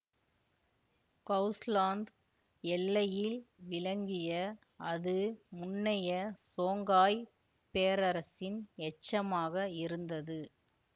Hausaland எல்லையில் விளங்கிய அது முன்னைய சோங்காய் பேரரசின் எச்சமாக இருந்தது